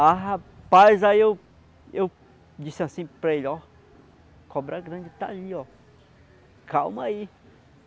Ah, rapaz, aí eu eu disse assim para ele, ó, cobra grande está ali, ó. Calma aí.